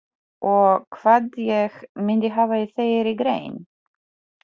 Og hvað ég myndi hafa í þeirri grein?